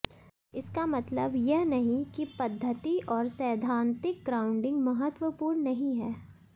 इसका मतलब यह नहीं है कि पद्धति और सैद्धांतिक ग्राउंडिंग महत्वपूर्ण नहीं है